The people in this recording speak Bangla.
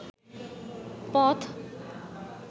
পথ